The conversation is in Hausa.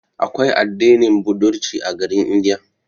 Aƙwai addinin budirci a garin India.